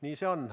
Nii see on.